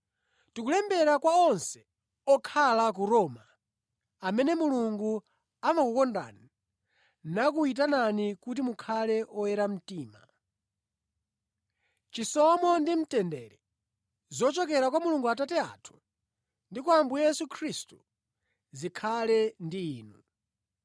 Ndikulembera kwa onse okhala ku Roma amene Mulungu amakukondani nakuyitanani kuti mukhale oyera mtima. Chisomo ndi mtendere zochokera kwa Mulungu Atate athu ndi kwa Ambuye Yesu Khristu zikhale ndi inu.